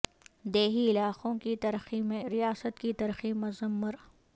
دیہی علاقوں کی ترقی میں ریاست کی ترقی مضمر